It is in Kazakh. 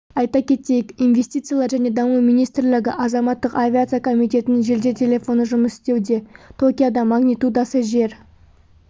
айта кетейік инвестициялар және даму министрлігі азаматтық авиация комитетінің жедел телефоны жұмыс істеуде токиода магнитудасы жер